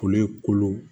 Kolo kolo